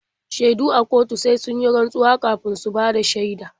Shaidu a kotu sai sun yi rantsuwa kafin su bada shaida.